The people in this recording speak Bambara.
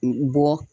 Bɔ